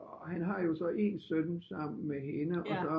Og han har jo så en søn sammen med hende og så